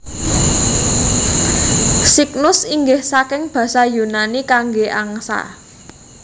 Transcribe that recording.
Cygnus inggih saking basa Yunani kangge angsa